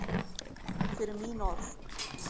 Fyrir mín orð.